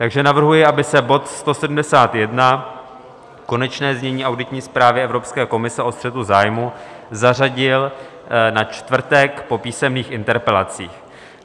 Takže navrhuji, aby se bod 171, Konečné znění auditní zprávy Evropské komise o střetu zájmů, zařadil na čtvrtek po písemných interpelacích.